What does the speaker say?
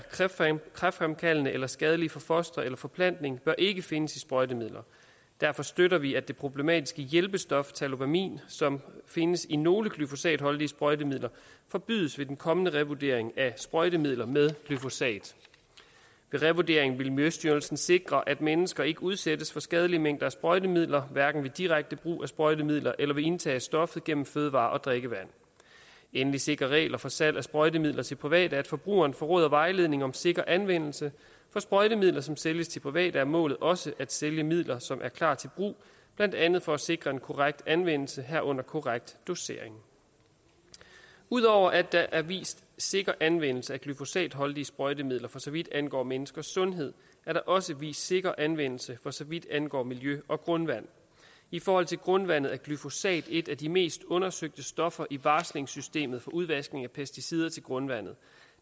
kræftfremkaldende eller skadelige for fostre eller forplantning bør ikke findes i sprøjtemidler derfor støtter vi at det problematiske hjælpestof tallowamin som findes i nogle glyfosatholdige sprøjtemidler forbydes ved den kommende revurdering af sprøjtemidler med glyfosat ved revurderingen vil miljøstyrelsen sikre at mennesker ikke udsættes for skadelige mængder af sprøjtemidler hverken ved direkte brug af sprøjtemidler eller ved indtagelse af stoffet gennem fødevarer og drikkevand endelig sikrer regler for salg af sprøjtemidler til private at forbrugeren får råd og vejledning om sikker anvendelse for sprøjtemidler som sælges til private er målet også at sælge midler som er klar til brug blandt andet for at sikre en korrekt anvendelse herunder korrekt dosering ud over at der er vist sikker anvendelse af glyfosatholdige sprøjtemidler for så vidt angår menneskers sundhed er der også vist sikker anvendelse for så vidt angår miljø og grundvand i forhold til grundvandet er glyfosat et af de mest undersøgte stoffer i varslingssystemet for udvaskning af pesticider til grundvandet